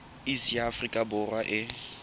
iss ya afrika borwa e